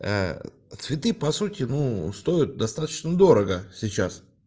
цветы по сути ну стоят достаточно дорого сейчас